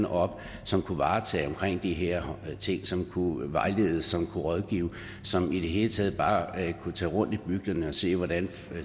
op som kunne varetage de her ting som kunne vejlede som kunne rådgive og som i det hele taget bare kunne tage rundt i bygderne og se hvordan